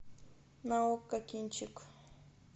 на окко кинчик